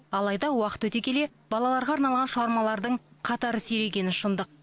алайда уақыт өте келе балаларға арналған шығармалардың қатары сирегені шындық